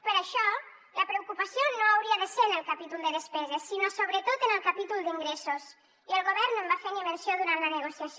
per això la preocupació no hauria de ser en el capítol de despeses sinó sobretot en el capítol d’ingressos i el govern no en va fer ni menció durant la negociació